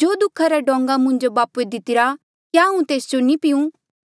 जो दुःखा रा डोंगा मुंजो बापूए दितिरा क्या हांऊँ तेस जो नी पीयूं